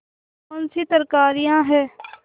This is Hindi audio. कौनसी तरकारियॉँ हैं